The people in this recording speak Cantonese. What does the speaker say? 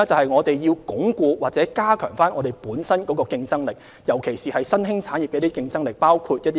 此外，要鞏固或加強香港本身的競爭力，尤其是新興產業的競爭力。